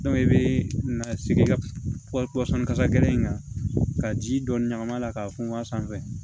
i bɛ na sigi i ka kasajalan in kan ka ji dɔɔni ɲagami a la k'a funfun a sanfɛ